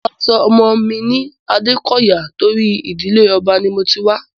Mo máa sọ ọmọ mi ní Adékọyà tóri ìdíle ọba ni mo ti wá.